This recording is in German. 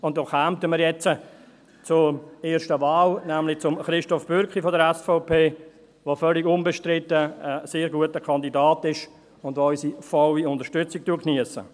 Damit kommen wir zur ersten Wahl, nämlich zu Christoph Bürki von der SVP, der völlig unbestritten ein sehr guter Kandidat ist und der unsere volle Unterstützung geniesst.